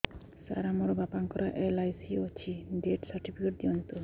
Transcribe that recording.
ସାର ମୋର ବାପା ଙ୍କର ଏଲ.ଆଇ.ସି ଅଛି ଡେଥ ସର୍ଟିଫିକେଟ ଦିଅନ୍ତୁ